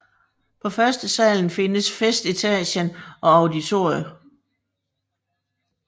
På førstesalen findes festetagen og auditorium